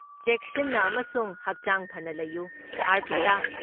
ꯆꯦꯛꯁꯤꯟꯅ ꯑꯃꯁꯨꯡ ꯍꯛꯆꯥꯡ ꯐꯅ ꯂꯩꯌꯨ ꯑꯔꯄꯤꯇꯥ꯫